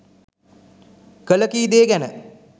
කළ කී දෑ ගැන